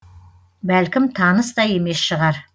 бәлкім таныс та емес шығар